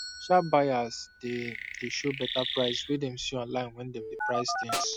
sharp buyers dey dey show better price wey dem see online when dem dey price things